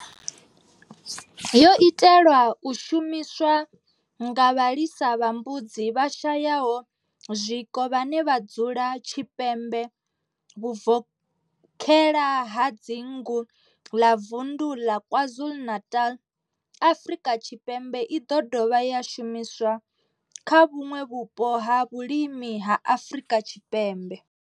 Yo itelwa u shumiswa nga vhalisa vha mbudzi vhashayaho zwiko vhane vha dzula tshipembe vhuvokhela ha dzingu ḽa vunḓu ḽa KwaZulu-Natal, Afrika Tshipembe i ḓo dovha ya shumiswa kha vhuṋwe vhupo ha vhulimi ha Afrika Tshipembe.